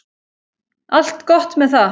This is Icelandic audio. Allt gott með það.